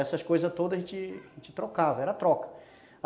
Essas coisas todas a gente, a gente trocava, era troca.